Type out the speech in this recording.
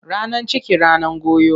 Ranan ciki, ranan goyo.